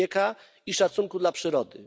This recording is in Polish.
człowieka i szacunku dla przyrody.